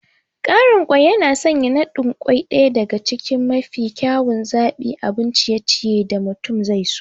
Ƙarin kwai yana sanya naɗin kwai ɗaya daga cikin mafi kyawun zaɓin abun ciye-ciye da mutum zaiso.